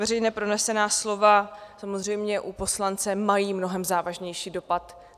Veřejně pronesená slova samozřejmě u poslance mají mnohem závažnější dopad.